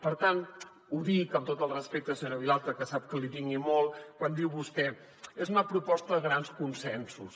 per tant ho dic amb tot el respecte senyora vilalta que sap que li tinc i molt quan diu vostè és una proposta de grans consensos